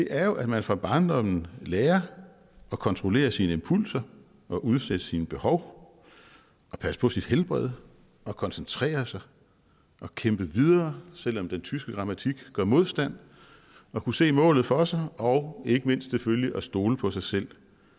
er jo at man fra barndommen lærer at kontrollere sine impulser og udsætte sine behov passe på sit helbred koncentrere sig og kæmpe videre selv om den tyske grammatik gør modstand og kunne se målet for sig og ikke mindst selvfølgelig stole på sig selv